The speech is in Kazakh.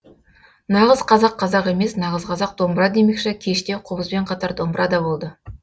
нағыз қазақ қазақ емес нағыз қазақ домбыра демекші кеште қобызбен қатар домбыра да болды